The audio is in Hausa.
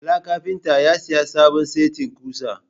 Bala carpenter ya siya sabon setin kusa.